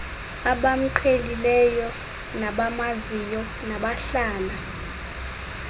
abamqhelileyo nabamaziyo nabahlala